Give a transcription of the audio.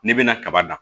N'i bɛna kaba dan